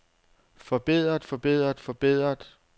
forbedret forbedret forbedret